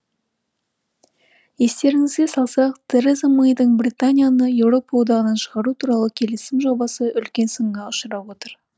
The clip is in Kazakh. естеріңізге салсақ тереза мэйдің британияны еуропа одағынан шығару туралы келісім жобасы үлкен сынға ұшырап отыр